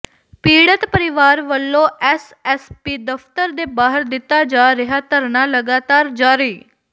ਪੀੜਤ ਪਰਿਵਾਰ ਵੱਲੋਂ ਐਸਐਸਪੀ ਦਫ਼ਤਰ ਦੇ ਬਾਹਰ ਦਿੱਤਾ ਜਾ ਰਿਹਾ ਧਰਨਾ ਲਗਾਤਾਰ ਜਾਰੀ